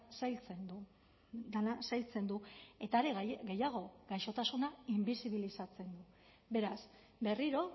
zailtzen du dena zailtzen du eta are gehiago gaixotasuna inbisibilizatzen du beraz berriro